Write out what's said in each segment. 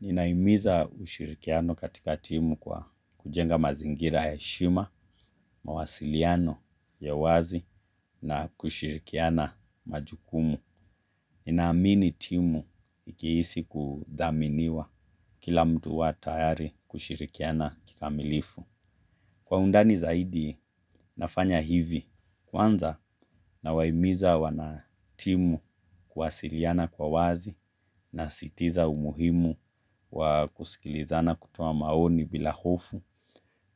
Ninahimiza ushirikiano katika timu kwa kujenga mazingira ya heshima, mawasiliano ya wazi na kushirikiana majukumu. Ninaamini timu ikihisi kudhaminiwa kila mtu huwa tayari kushirikiana kikamilifu. Kwa undani zaidi nafanya hivi kwanza nawahimiza wanatimu kuwasiliana kwa wazi na sitiza umuhimu wa kusikilizana kutoa maoni bila hofu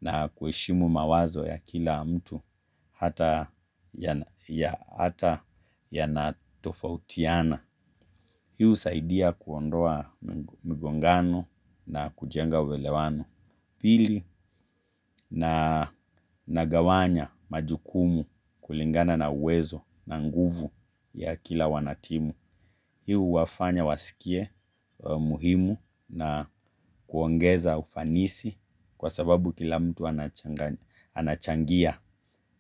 na kuheshimu mawazo ya kila mtu hata yanatofautiana. Hii husaidia kuondoa migongano na kujenga uelewano. Pili na nagawanya majukumu kulingana na uwezo na nguvu ya kila wanatimu. Hii huwafanya wasikie muhimu na kuongeza ufanisi kwa sababu kila mtu anachangia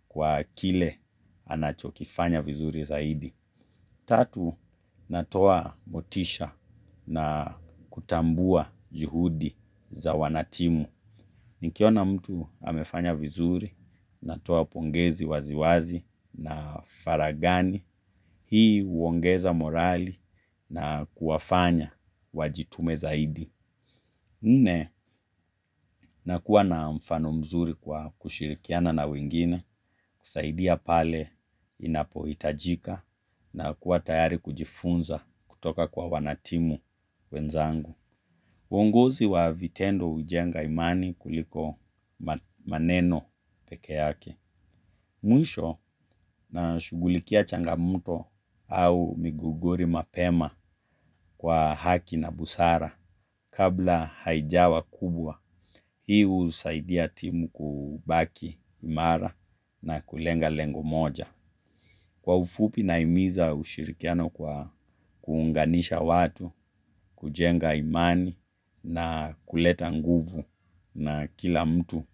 kwa kile anachokifanya vizuri zaidi. Tatu, natoa motisha na kutambua juhudi za wanatimu. Nikiona mtu amefanya vizuri, natoa pongezi waziwazi na faragani, hii huongeza morali na kuwafanya wajitume zaidi. Nne nakuwa na mfano mzuri kwa kushirikiana na wengine, kusaidia pale inapohitajika na kuwa tayari kujifunza kutoka kwa wanatimu wenzangu. Uonguzi wa vitendo hujenga imani kuliko maneno peke yake. Mwisho nashughulikia changamoto au miguguri mapema kwa haki na busara kabla haijawa kubwa. Hii husaidia timu kubaki imara na kulenga lengo moja. Kwa ufupi nahimiza ushirikiano kwa kuunganisha watu, kujenga imani na kuleta nguvu na kila mtu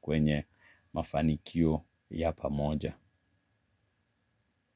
kwenye mafanikio ya pamoja.